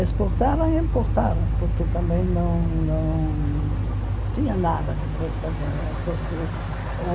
Exportaram e importaram, porque também não não tinha nada depois da guerra. Essas o